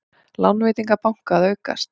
Lánveitingar banka að aukast